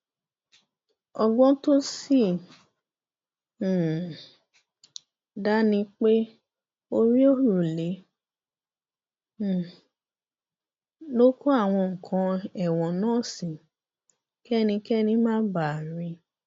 ọgbọn tó sì um dá ni pé orí òrùlé um ló kó àwọn nǹkan ẹẹwọn náà sí kẹnikẹni má bàa rí i